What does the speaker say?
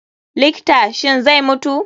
likta, shin zai mutu?